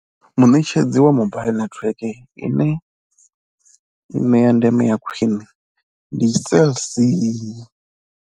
Muṋetshedzi wa mobile netiweke ine i ṋea ndeme ya khwine ndi Cell C.